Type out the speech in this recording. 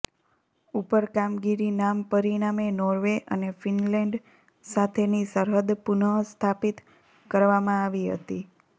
ઉપર કામગીરી નામ પરિણામે નોર્વે અને ફિનલેન્ડ સાથેની સરહદ પુનઃસ્થાપિત કરવામાં આવી હતી